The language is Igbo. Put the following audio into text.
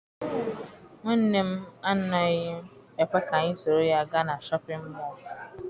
Nwanne m anaghị ekwe ka anyị soro ya gaa na Shọpịn mọọ.